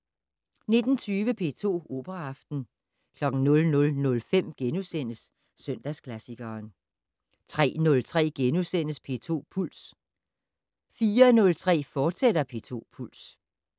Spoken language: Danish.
19:20: P2 Operaaften 00:05: Søndagsklassikeren * 03:03: P2 Puls * 04:03: P2 Puls, fortsat